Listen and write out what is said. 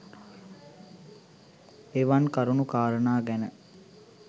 එවන් කරුණු කාරණා ගැන